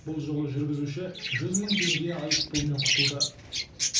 бұл жолы жүргізуші жүз мың теңге айыппұлмен құтылды